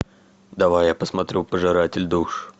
давай я посмотрю пожиратель душ